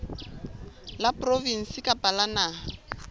la provinse kapa la naha